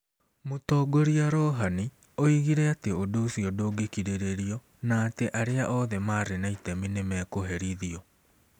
Mũtongoria Rouhani oigire atĩ ũndũ ũcio ndũngĩkirĩrĩrio na atĩ arĩa othe marĩ na itemi nĩ mekũherithio.